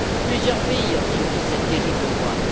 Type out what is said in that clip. Plusieurs pays ont suivi cette terrible voie.